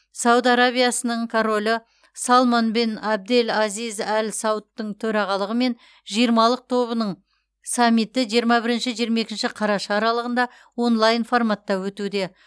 сауд арабиясының королі салман бен әбдел әзиз әл саудтың төрағалығымен жиырмалық тобының саммиті жиырма бірінші жиырма екінші қараша аралығында онлайн форматта өтуде